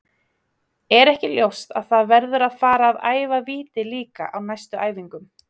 Er ekki ljóst að það verður að fara að æfa víti líka á næstu æfingum?